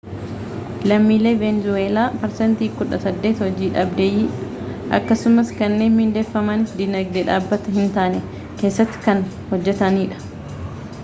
lammiileen veenzuweelaa parsantii kudha saddeet hojii dhabeeyyiidha akkasumas kanneen mindeeffamanis diinagdee dhaabbataa hin taane keessa kan hojjataniidha